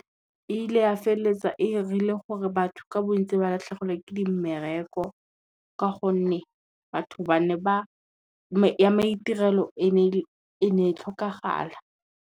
E ile ya felletsa e 'irile gore batho ka bontsi ba latlhegelwe ke di mmereko, ka gonne ya maitirelo e ne tlhokagala.